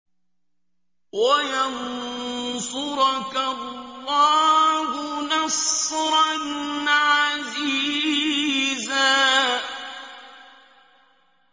وَيَنصُرَكَ اللَّهُ نَصْرًا عَزِيزًا